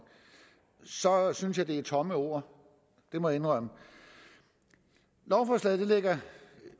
så synes jeg det er tomme ord det må jeg indrømme lovforslaget lægger